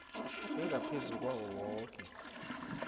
engaphezu kwawo woke